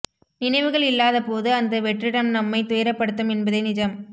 நினைவுகள் இல்லாத போது அந்த வெற்றிடம் நம்மைத் துயரப்படுத்தும் என்பதே நிஜம்